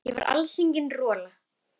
Ég var alls engin rola.